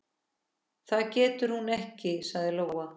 Það getur hún ekki, sagði Lóa.